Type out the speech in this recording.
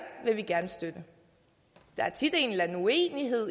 vil vi gerne støtte der er tit en eller anden uenighed